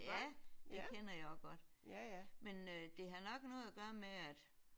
Ja det kender jeg også godt men det har nok noget at gøre med at